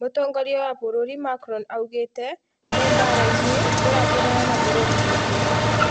Mũtongia wa bũrũri Macron augite ,me barainĩ...tũrahũrana na bũrũri witũ